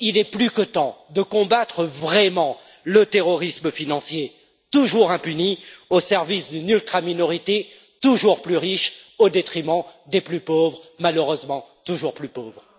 Il est plus que temps de combattre vraiment le terrorisme financier, toujours impuni, au service d'une ultraminorité toujours plus riche, au détriment des plus pauvres, malheureusement toujours plus pauvres.